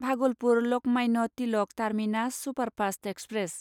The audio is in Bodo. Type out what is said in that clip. Bhagalpur Lokmanya Tilak terminus superfast express